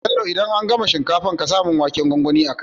Bello idan an gama shinkafar ƙasa mun waken gwangwani a kai